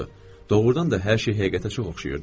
Doğrudan da hər şey həqiqətə çox oxşayırdı.